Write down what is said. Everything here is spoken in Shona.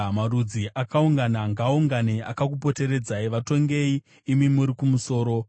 Marudzi akaungana ngaaungane akakupoteredzai. Vatongei imi muri kumusoro;